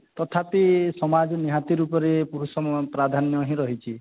ତଥାପି ସମାଜ ନିହାତି ରୂପରେ ପୁରୁଷ ପ୍ରାଧାନ୍ୟ ହିଁ ରହିଛି